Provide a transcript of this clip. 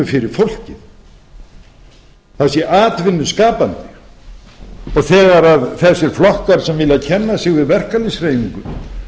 fyrir fólkið það sé atvinnuskapandi þegar þessi flokkar sem vilja kenna sig við verkalýðshreyfinguna